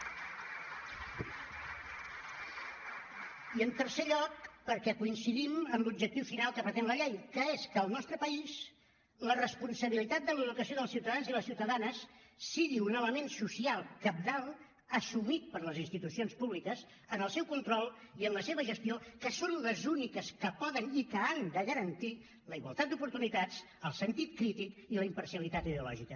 i en tercer lloc perquè coincidim amb l’objectiu final que pretén la llei que és que al nostre país la responsabilitat de l’educació dels ciutadans i les ciutadanes sigui un element social cabdal assumit per les institucions públiques en el seu control i en la seva gestió que són les úniques que poden i que han de garantir la igualtat d’oportunitats el sentit crític i la imparcialitat ideològica